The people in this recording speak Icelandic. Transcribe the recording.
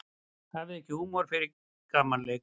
Hafði ekki húmor fyrir gamanleik